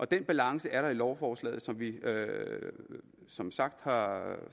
den balance er der i lovforslaget som vi som sagt har